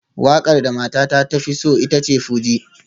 Wakar da matata ta fi so ita ce fuji